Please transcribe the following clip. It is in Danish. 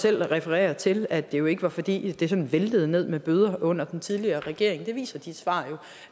selv refererer til at det jo ikke var fordi det sådan væltede ned med bøder under den tidligere regering det viser de svar jo